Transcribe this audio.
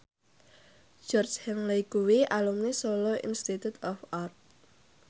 Georgie Henley kuwi alumni Solo Institute of Art